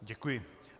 Děkuji.